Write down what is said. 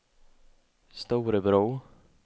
Storebro